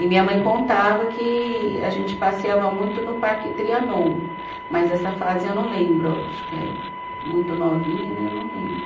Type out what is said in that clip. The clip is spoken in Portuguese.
E minha mãe contava que a gente passeava muito no Parque Trianon, mas essa fase eu não lembro, acho que é muito novinha, né, eu não lembro.